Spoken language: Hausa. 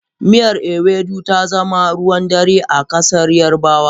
Miyar Ewedu ta zama ruwan dare a ƙasar yarbawa.